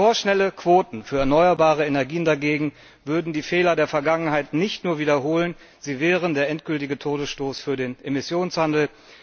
Vorschnelle Quoten für erneuerbare Energien dagegen würden die Fehler der Vergangenheit nicht nur wiederholen, sie wären der endgültige Todesstoß für den Emissionshandel.